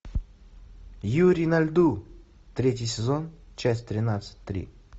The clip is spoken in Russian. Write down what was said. юри на льду третий сезон часть тринадцать три